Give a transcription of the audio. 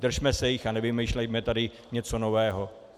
Držme se jich a nevymýšlejme tady něco nového.